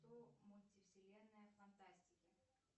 кто мультивселенная фантастики